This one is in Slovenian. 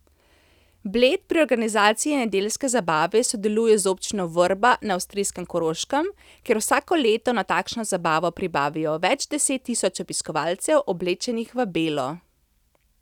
Bled pri organizaciji nedeljske zabave sodeluje z občino Vrba na avstrijskem Koroškem, kjer vsako leto na takšno zabavo privabijo več deset tisoč obiskovalcev, oblečenih v belo.